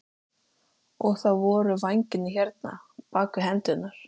Og þá voru vængir hérna, bak við hendurnar.